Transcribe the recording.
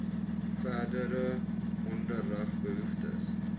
verdere onderrig behoeftes